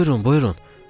Buyurun, buyurun.